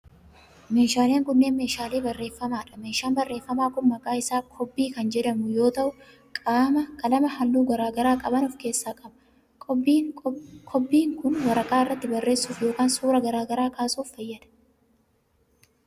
Meeshaaleen kunneen, meeshaalee barreeffamaa dha. Meeshaan barreeffamaa kun, maqaan isaa Kobbii kan jedhamu yoo ta'u, qalama haalluu garaa garaa qaban of keessaa qaba. Kobbiin, waraqaa irratti barreessuuf yokin suura garaa garaa kaasuf fayyada.